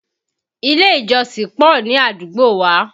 Ilé ìjọsìn pọ̀ ní àdúgbò wa